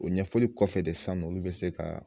O ɲɛfɔli kɔfɛ de san nɔ olu bɛ se ka